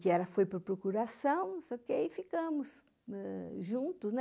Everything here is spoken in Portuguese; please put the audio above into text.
que foi para a procuração, só que aí ficamos juntos.